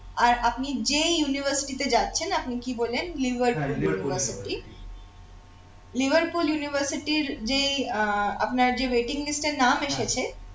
আর আপনি যেই university তে যাচ্ছেন আপনি কি বললেন liverpool university liverpool university র যে আহ আপনার যে waiting list এ নাম এসেছে